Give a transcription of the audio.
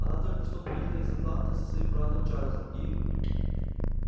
она только что приехала из атланты со своим братом чарлзом и